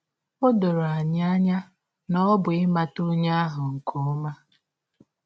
Ọ dọrọ anya na ọ bụ ịmata ọnye ahụ nke ọma.